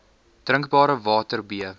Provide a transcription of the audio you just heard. drinkbare water b